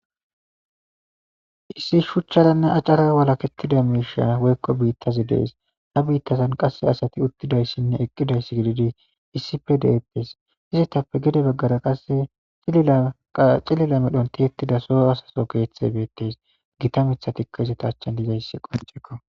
issi shuchcharanne acara walakettida miisha woykko biittazi dees ha biittazan qasse asati uttidayssinne eqqidayss gididi issife de7eppes izittappe gede baggara qasse xilila medhontihettida soo asaso geeththe beettees gita mithatikka izeta achchan dizayssi qonchekko